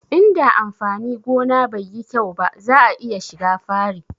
Inda amfani gona bai yi kyau ba za'a iya shiga fari